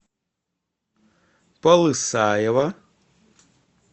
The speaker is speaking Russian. полысаево